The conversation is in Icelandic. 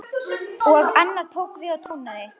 Og annar tók við og tónaði: